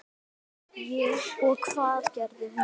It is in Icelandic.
Og hvað gerði hún?